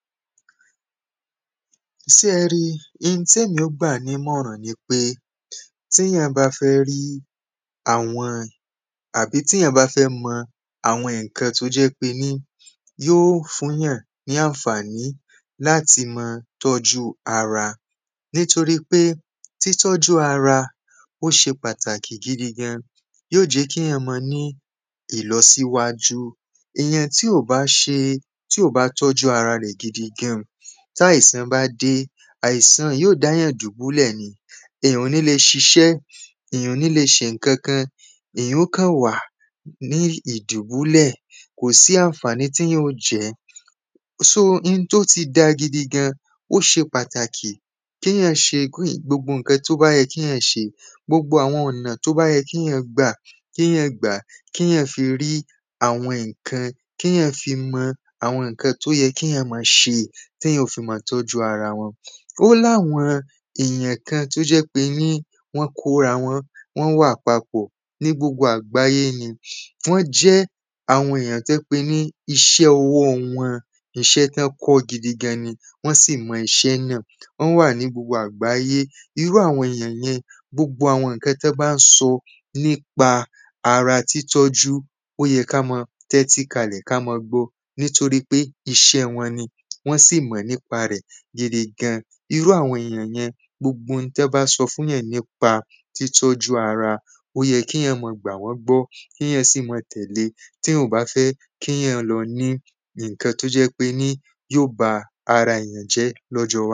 Ṣé ẹ rí i Oun tí èmi ó gbà ní ìmọ̀ràn ni pé Tí èyàn bá fẹ rí àwọn àbí tí èyàn bá fẹ mọ àwọn nǹkan tí o jẹ́ pé ní yóò fún èyàn ní àǹfàní láti máa tọ́jú ara Nítorí pé títọ́jú ara ó ṣe pàtàkì gidi gan an Yóò jẹ́ kí èyàn máa ní ìlọsíwájú Èyàn tí ò bá ṣe tí ò bá tọ́jú ara rẹ̀ gidi gan an tí àìsàn bá dé àìsàn yóò dá èyàn dùbúlẹ̀ ni Èyàn ò ní lè ṣiṣẹ́ Èyàn ò ní lè ṣe nǹkankan Èyàn ó kàn wa ní ìdùbúlẹ̀ Kò sí àǹfàní tí èyàn óò jẹ́ So oun tí ó ti da gidi gan an ó ṣe pàtàkì kí èyàn ṣe gbogbo nǹkan tí ó bá yẹ kí èyàn ṣe Gbogbo àwọn ọ̀nà tí ó bá yẹ kí èyàn gbà kí èyàn gbà á Kí èyàn fi rí àwọn nǹkan kí èyàn fi mọ àwọn nǹkan tí ó yẹ kí èyàn máa ṣe tí èyàn ó fi máa tọ́jú ara wọn O ní àwọn èyàn kan tí o jẹ́ pé ni wọ́n kó ara wọn wọ́n wà papọ̀ ní gbogbo àgbáyé ni Wọ́n jẹ́ àwọn èyàn tí ó jẹ́ pé ni iṣẹ́ ọwọ́ wọn iṣẹ́ tí wọ́n kọ́ gidi gan ni Wọ́n sì mọ iṣẹ́ náà Wọ́n wà ní gbogbo àgbáyé Irú àwọn èyàn yẹn gbogbo àwọn nǹkan tí wọ́n bá ń sọ nípa ara títọ́jú ó yẹ kí á máa tẹ́ti kalẹ̀ kí a máa gbọ́ ọ nítorí pé iṣẹ́ wọn ni Wọ́n sì mọ̀ nípa rẹ̀ gidi gan an Irú àwọn èyàn yẹn gbogbo oun tí wọ́n bá sọ fún èyàn nípa títọ́jú ara o yẹ kí èyàn máa gbà wọ́n gbọ́ Kí èyàn sì máa tẹ̀lé e tí èyàn ò bá fẹ́ kí èyàn lọ ní nǹkan tí ó jẹ́ ń pé ni yóò ba ara èyàn jẹ́ ní ọjọ́ iwájú